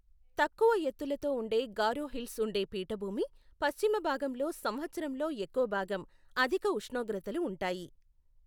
తక్కువ ఎత్తులతో ఉండే గారో హిల్స్ ఉండే పీఠభూమి పశ్చిమ భాగంలో సంవత్సరంలో ఎక్కువ భాగం అధిక ఉష్ణోగ్రతలు ఉంటాయి.